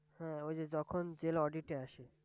হ্যাঁ ওই যে যখন জেল Audit -এ আসে।